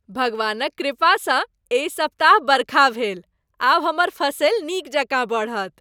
भगवानक कृपासँ एहि सप्ताह बरखा भेल। आब हमर फसिल नीक जकाँ बढ़त।